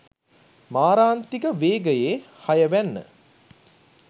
මාරාන්තික වේගයේ හය වැන්න